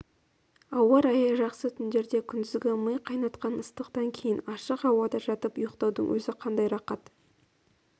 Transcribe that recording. ауа райы жақсы түндерде күндізгі ми қайнатқан ыстықтан кейін ашық ауада жатып ұйықтаудың өзі қандай рақат